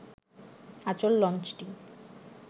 আঁচল লঞ্চটি